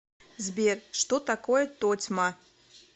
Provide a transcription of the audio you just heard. сбер что такое тотьма